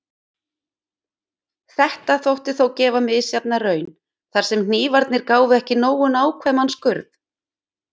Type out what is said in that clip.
Þetta þótti þó gefa misjafna raun, þar sem hnífarnir gáfu ekki nógu nákvæman skurð.